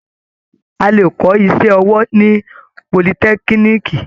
A lè kọ́ iṣẹ́ ọwọ́ ní politẹ́kíníìkì.